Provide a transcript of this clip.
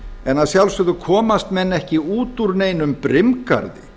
en að sjálfsögðu komast menn ekki út úr neinum brimgarði